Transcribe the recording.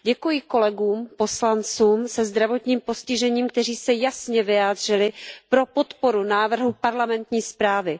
Děkuji kolegům, poslancům se zdravotním postižením, kteří se jasně vyjádřili pro podporu návrhu parlamentní zprávy.